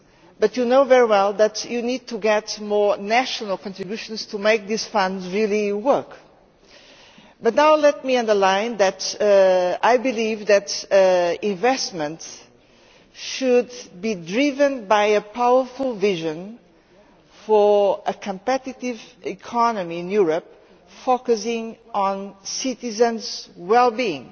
this, but you know very well that you need more national contributions to make this fund really work. Let me underline that I believe that investments should be driven by a powerful vision for a competitive economy in Europe, focusing on citizens' well being.